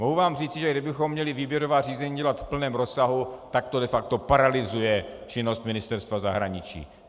Mohu vám říci, že kdybychom měli výběrová řízení dělat v plném rozsahu, tak to de facto paralyzuje činnost Ministerstva zahraničí.